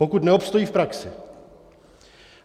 Pokud neobstojí v praxi.